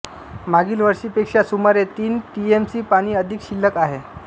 मागील वर्षीपेक्षा सुमारे तीन टीएमसी पाणी अधिक शिल्लक आहे